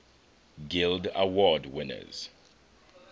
guild award winners